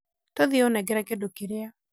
tũthiĩ ũnengere kĩndũ kĩrĩa